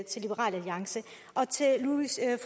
til liberal alliance og til